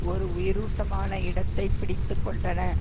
ஒரு உயிரோட்டமான இடத்தை பிடித்து கொண்டன